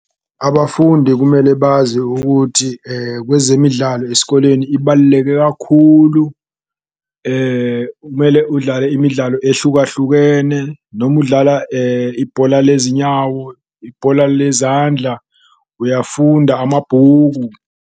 Abafundi kumele bazi ukuthi kwezemidlalo esikoleni ibaluleke kakhulu, umele udlale imidlalo ehlukahlukene noma udlala ibhola lezinyawo, ibhola lezandla, uyafunda amabhuku.